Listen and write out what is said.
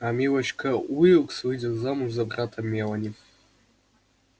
а милочка уилкс выйдет замуж за брата мелани